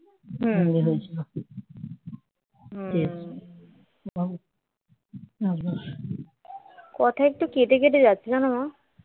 কথা একটু কেটে কেটে যাচ্ছে জানো মা